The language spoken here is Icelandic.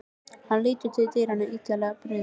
Hann lítur til dyranna, illilega brugðið.